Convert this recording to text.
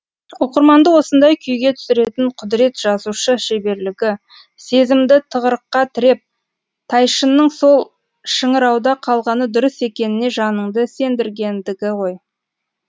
оқырманды осындай күйге түсіретін құдірет жазушы шеберлігі сезімді тығырыққа тіреп тайшынның сол шыңырауда қалғаны дұрыс екеніне жаныңды сендіргендігі ғой